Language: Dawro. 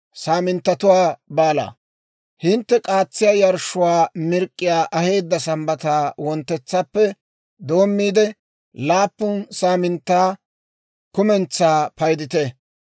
« ‹Hintte k'aatsiyaa yarshshuwaa mirk'k'iyaa aheedda Sambbata wonttetsappe doommiide, laappun saaminttaa kumentsaa paydite.